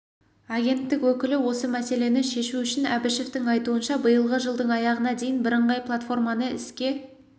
агенттік өкілі осы мәселені шешу үшін әбішевтің айтуынша биылғы жылдың аяғына дейін бірыңғай платформаны іске